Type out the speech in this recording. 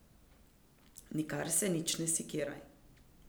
Nikar se nič ne sekiraj.